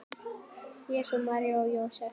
Jesús, María og Jósef!